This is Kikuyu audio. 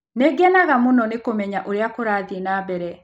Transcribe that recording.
Nĩ ngenaga mũno nĩ kũmenya ũrĩa kũrathiĩ na mbere.